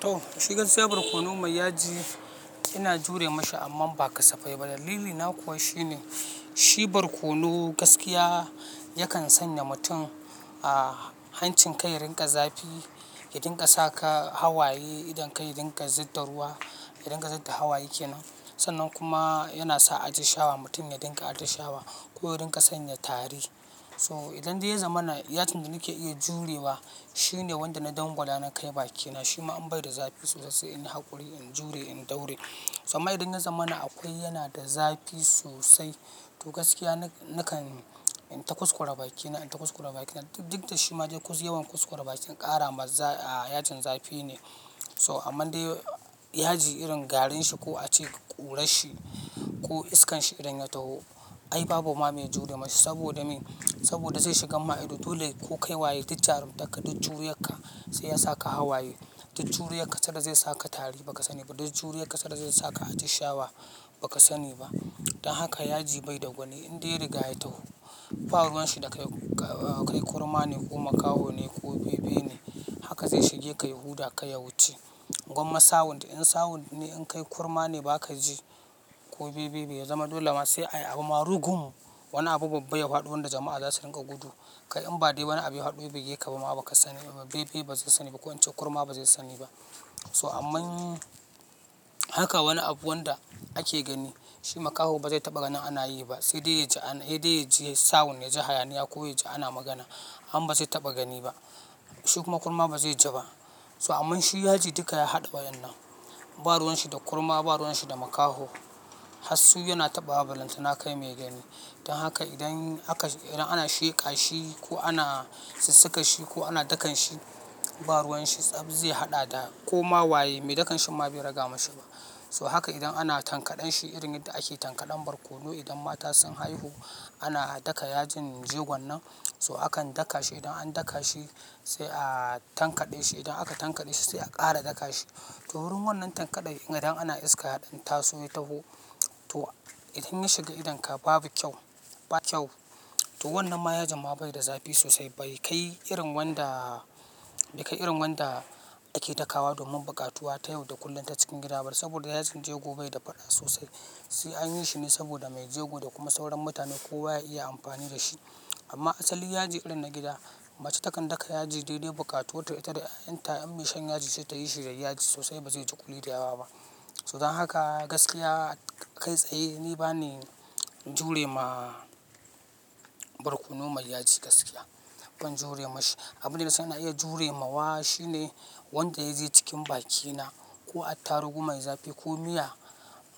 To shi gaskiya bar kono mai yaji ina jure masa amma ba kasafai ba. Dalili na kuwa shine, shibar kono gaskiya yakan sanya mutum a hancin kai rinƙa zafi, ya dinga saka hawaye idan ka ya dinga zidda ruwa, ya dinga zidda hawa yake nan. Sannan kuma yana sa ajisshawa mutum ya dinga ajisshawa ko ya rinƙa sanya tari. So idan dai ya zamana yajin da nake iya jurewa shine wanda na dangwala na kai bakina. Shi ma in bai da zafi sosai in yi haƙuri, in jure, in daure. Amma idan ya zamana akwai yana da zafi sosai. To gaskiya nakan in ta kuskure bakina, in ta kuskure bakina. Duk da shi ma dai kus yawan kuskure bakin ƙara ma a yajin zafi ne. So amma dai yaji irin garin shi ko a ce ƙura shi ko iskan shi idan ya taho, ai babu ma mai jure masa saboda me? Saboda zai shiga ma'aidu. Dole ko kai waye, duk jarumta ka, duk jure ka sai ya saka hawaye. Duk jure ka sai da zai saka tari ba ka sani ba. Duk jure ka sai da zai saka ajisshawa ba ka sani ba. Dan haka yaji bai da gwani. In dai rigaya taho, baruwan shi da kai kurma ne ko makaho ne ko bebe ne haka zai shige kai huda, kai ya wuce. Gwamma sawun da in sawun ne in kai kurma ne ba ka ji ko bebe ba ya zama dole ma sai a yi abu marugun. Wani abu babba ya fadi wanda jama'a za su rinƙa gudu. Kai in ba dai wani abu haɗo bai yake ba kuma ba ka sani ba. Bebe ba zai sani ba ko wancan kurma ba zai sani ba. So amman haka wani abu wanda ake gani shi makaho ba zai taɓa gani ana yi ba, sai dai ya ji sawun, ya ji hayaniya ko ya ji ana magana han ba zai taɓa gani ba. Shi kuma kurma ba zai ji ba. So aman shi yaji duka ya haɗa wa yan nan. Baruwan shi da kurma, baruwan shi da makaho. Hassu yana taɓawa ballantana kai mai gani. Dan haka idan aka, idan ana sheƙa shi ko ana sassaƙa shi ko ana dakan shi, baruwan shi tsab zai haɗa da ko ma waye mai dakan shi ma bai riga mashi ba. So haka idan ana tankaɗan shi irin yadda ake tankaɗan barkono idan mata sun haihu ana a daka yajin jegon nan. So akan daka shi idan an daka shi sai a tankaɗe shi. Idan aka tankaɗe shi sai a ƙara daka shi. To wurin wannan tankaɗai idan ana iska yaɗan ta so ya taho. To idan ya shiga idon ka babu kyau, ba kyau. To wannan ma yaji ma bai da zafi sosai bai kai irin wanda, bai kai irin wanda ake daka wa domin buƙatuwa ta yau da kullum ta cikin gida ba saboda yajin jego bai da faɗa sosai. Sai an yi shi ne saboda mai jego da kuma sauran mutane kowa ya iya amfani da shi. Amma asali yaji irin na gida mace takan daka yaji dai dai buƙatuwata ita da yayanta. In mai shan yaji ta yi shi da yaji sosai ba zai ji kuli da yawa ba. So dan haka gaskiya kai tsaye ni ba ne jure ma barkono mai yaji gaskiya. Ban jure ma shi. Abin da nasan ina iya jure ma wa shine wanda ya je cikin bakina ko atta rugun mai zafi ko miya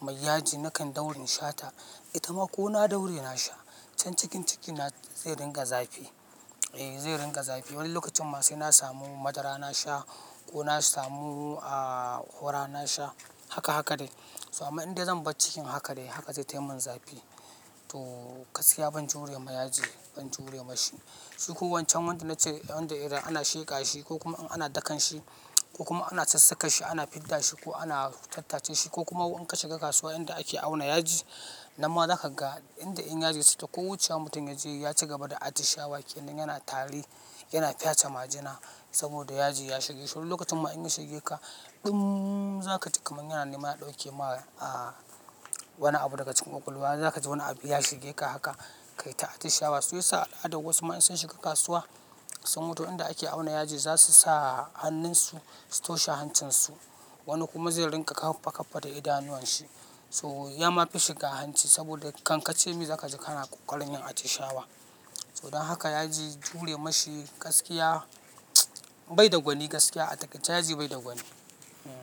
mai yaji nakan daure na sha ta. Ita ma ko na daure na sha can cikin cikina zai dinga zafi. Eh zai dinga zafi. Wani lokacin ma sai na samu madara na sha ko na samu a hura na sha haka haka dai. So amma in dai zan bar cikin haka dai haka zai taimin zafi. To gaskiya ban jure ma yaji, ban jure ma shi. Shi ko wancan wanda na ce irin da idan ana sheƙa shi ko kuma in ana dakan shi ko kuma ana sassaƙa shi ana fidda shi ko ana tattace shi ko kuma inka shiga kasuwa inda ake auna yaji, nan ma za ka ga inda in yaji suke ko wucewa mutum ya je ya ci gaba da ajisshawa yake nan yana tari, yana fyace majina saboda yaji ya shige. So lokacin ma in ya shige ka ɗum za ka ji kamar yana neman ya ɗauke ma a wani abu daga cikin ƙwaƙwalwa. Za ka ji wani abu ya shige ka haka kai ta ajisshawa. Su yi sa'a da wasu ma in sun shiga kasuwa sun mutu inda ake auna yaji za su sa hannun su su toshe hancin su. Wani kuma zai rinƙa kafa kafa da idanuwan shi. So ya ma fi shiga hanci saboda kan ka ce me za ka ji ka na ƙwoƙworin yin ajisshawa. So dan haka yaji jure ma shi gaskiya bai da gwani gaskiya. Atakaice yaji bai da gwani. Hmm.